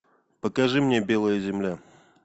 покажи мне белая земля